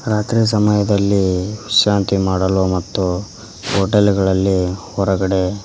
ರಾತ್ರಿ ಸಮಯದಲ್ಲಿ ವಿಶ್ರಾಂತಿ ಮಾಡಲು ಮತ್ತು ಹೋಟೆಲ್ ಗಳಲ್ಲಿ ಹೊರಗಡೆ--